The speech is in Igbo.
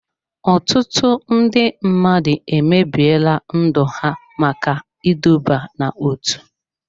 Ọtụtụ ndị mmadụ emebiela ndụ ha maka iduba n'otu.